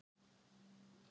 Beint rautt.